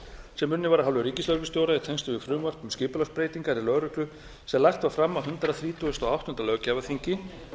sem unnin var af hálfu ríkislögreglustjóra í tengslum við frumvarp um skipulagsbreytingar í lögreglu sem lagt var fram á hundrað þrítugasta og áttunda löggjafarþingi